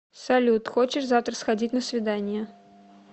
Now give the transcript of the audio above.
салют хочешь завтра сходить на свидание